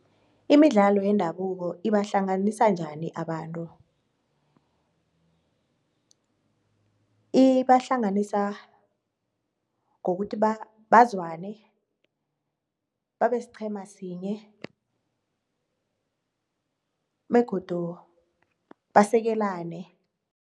Imidlalo yendabuko ibahlanganisa njani abantu? ibahlanganisa ngokuthi bazwane babesiqhema sinye begodu basekelane.